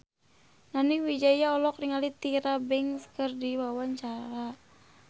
Nani Wijaya olohok ningali Tyra Banks keur diwawancara